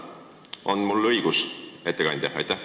On mul õigus, ettekandja?